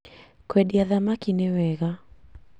Kwendia thamaki nĩwega